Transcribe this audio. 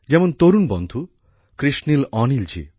যেমন তরুণ সাথী কৃশনীল অনিল জী